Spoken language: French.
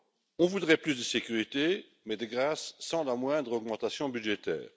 L'on voudrait plus de sécurité, mais de grâce, sans la moindre augmentation budgétaire.